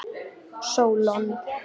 Sólon